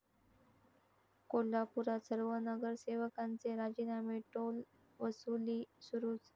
कोल्हापुरात सर्व नगरसेवकांचे राजीनामे, टोलवसुली सुरूच!